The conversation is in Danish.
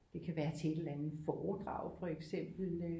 Det kan være til et eller andet foredrag for eksempel